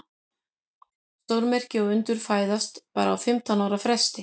Stórmerki og undur fæðast bara á fimmtán ára fresti.